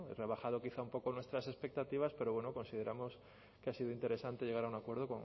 rebajado quizá un poco nuestras expectativas pero bueno consideramos que ha sido interesante llegar a un acuerdo